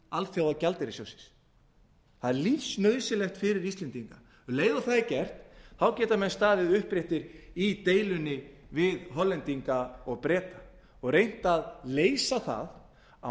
alþjóðagjaldeyrissjóðsins það er lífsnauðsynlegt fyrir íslendinga um leið og það er gert þá geta menn staðið uppréttir í deilunni við hollendinga og breta og reynt að leysa það á